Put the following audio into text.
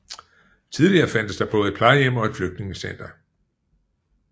Tidligere fandtes der både et plejehjem og et flygtningecenter